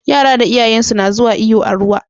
Yara da iyayansu na zuwa iyo a ruwa